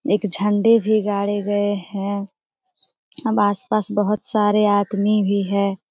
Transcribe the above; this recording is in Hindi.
एक झंडे भी गाड़े गए है आस-पास बहुत सारे आदमी भी है।